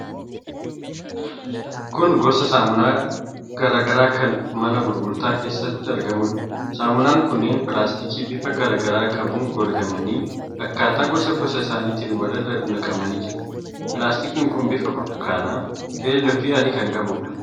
Kun gosa saamunaa garaa garaa kan mana gurgurtaa keessatti argamuudha. Saamunaan kunneen pilaastikii bifa garaa garaa qabuun golgamanii; akkaataa gosa gosa isaaniitti walirra naqamanii jiru. Pilaastikiin kun bifa burtukaanaa, keelloo fi adii kan qabuudha.